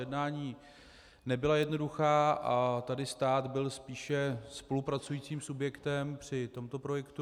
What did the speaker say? Jednání nebyla jednoduchá a tady stát byl spíše spolupracujícím subjektem při tomto projektu.